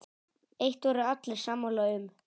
Eitt voru allir sammála um.